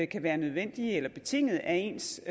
kan være nødvendige eller betingede af ens